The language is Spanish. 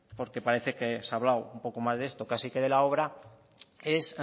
porque parece que se ha hablado un poco más de esto casi que de la obra es